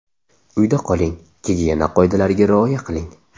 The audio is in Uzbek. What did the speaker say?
Uyda qoling, gigiyena qoidalariga rioya qiling!